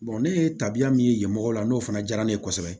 ne ye tabiya min ye yen mɔgɔw la n'o fana diyara ne ye kosɛbɛ